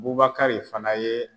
Bubakari fana ye